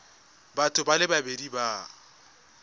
batho ba le babedi ba